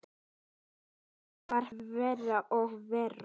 Þetta varð verra og verra.